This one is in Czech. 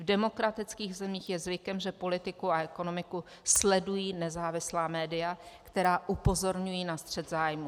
V demokratických zemích je zvykem, že politiku a ekonomiku sledují nezávislá média, která upozorňují na střet zájmů.